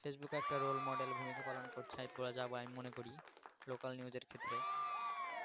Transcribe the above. Facebook একটা role model ভূমিকা পালন করছে আমি মনে করি local news এর ক্ষেত্রে